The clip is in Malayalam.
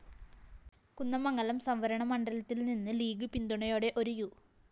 കുന്ദമംഗലം സംവരണമണ്ഡലത്തില്‍നിന്ന് ലീഗ്‌ പിന്തുണയോടെ ഒരു യു